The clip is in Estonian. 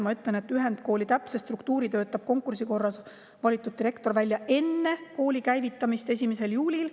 Ma ütlen, et ühendkooli täpse struktuuri töötab konkursi korras valitud direktor välja enne kooli käivitamist 1. juulil.